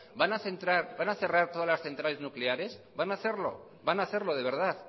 van a cerrar todas las centrales nucleares van a hacerlo van a hacerlo de verdad